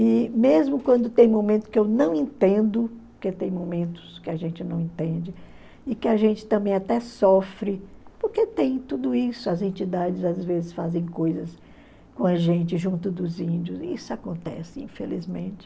E mesmo quando tem momentos que eu não entendo, porque tem momentos que a gente não entende, e que a gente também até sofre, porque tem tudo isso, as entidades às vezes fazem coisas com a gente, junto dos índios, e isso acontece, infelizmente.